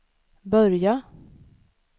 börja